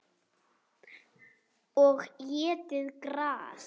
Og étið gras.